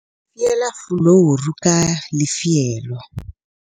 fiela fuluru ka lefielo